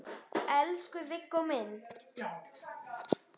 Elsku Viggó minn.